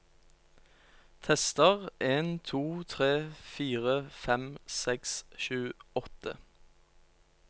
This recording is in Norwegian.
Tester en to tre fire fem seks sju åtte